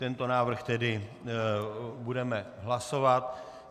Tento návrh tedy budeme hlasovat.